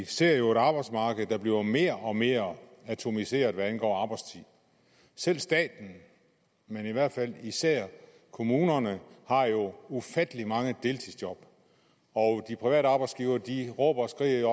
ser et arbejdsmarked der bliver mere og mere atomiseret hvad angår arbejdstid selv staten men i hvert fald kommunerne har jo ufattelig mange deltidsjob og de private arbejdsgivere råber og skriger